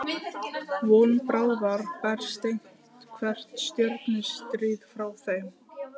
Von bráðar berst eitthvert stjörnustríð frá þeim.